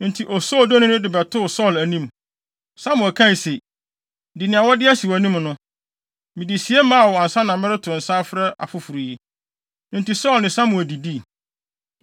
Enti osoodoni no de ba bɛtoo Saulo anim. Samuel kae se, “Di nea wɔde asi wʼanim no. Mede sie maa wo ansa na mereto nsa afrɛ afoforo yi.” Enti Saulo ne Samuel didii.